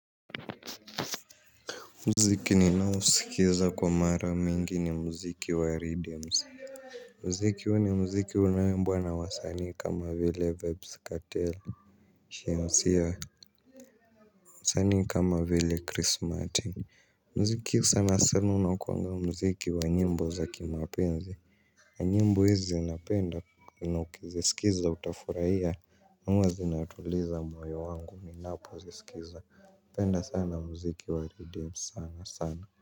Mziki ni nausikiza kwa mara mingi ni mziki wa Redems. Mziki huu ni mziki unaoimbwa na wasani kama vile vebs katela Shee sia Sani kama vile chris martin. Mziki sana sana unakwanga mziki wa nyimbo za kimapenzi. A nyimbo hizi zinapenda na ukizikiza utafurahia huwa zinatuliza moyo wangu ni napo ziskiza penda sana mziki wa Redems sana sana. Kwa hivyo.